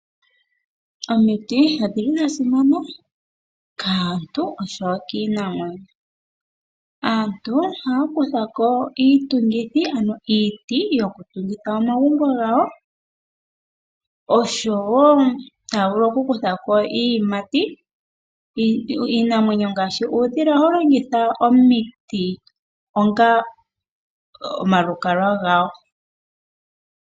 Omiti odhina esimano kaantu osho wo kiinamwenyo. Aantu ohaya kutha iitungithi ano iiti yokutungitha omagumbo gawo. Oshowo taya vulu okukutha ko iiyimati. Iinamwenyo ngaashi uudhila ohawu longitha omiti onga omalukalwa gawo.